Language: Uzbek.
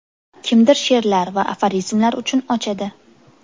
Kimdir she’rlar va aforizmlar uchun ochadi.